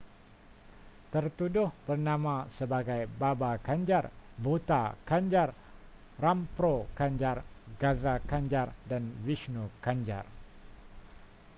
tertuduh bernama sebagai baba kanjar bhutha kanjar rampro kanjar gaza kanjar dan vishnu kanjar